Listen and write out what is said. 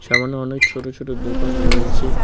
সামনে অনেক ছোট ছোট দোকান রয়েছে।